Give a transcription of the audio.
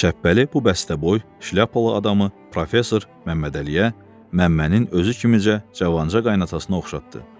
Şəppəli bu bəstəboy, şlyapalı adamı professor Məmmədəliyə, Məmmənin özü kimicə cavanca qaynanasına oxşatdı.